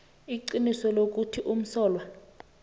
iqiniso lokuthi umsolwa